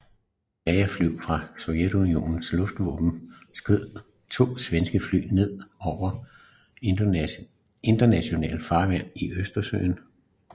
Jagerfly fra Sovjetunionens luftvåben skød to Svenske fly ned over internationalt farvand i Østersøen